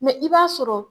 Mɛ i b'a sɔrɔ